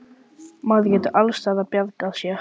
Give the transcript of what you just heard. Maður getur alls staðar bjargað sér.